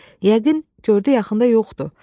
Yəqin gördü yaxında yoxdu.